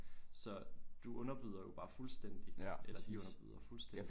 Så du underbyder jo bare fuldstændig eller de underbyder fuldstændig